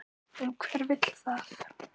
En hver vill það?